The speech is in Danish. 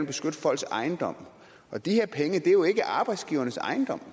beskytte folks ejendom og de her penge er jo ikke arbejdsgivernes ejendom